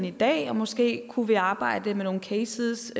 i dag og måske kunne vi arbejde med nogle cases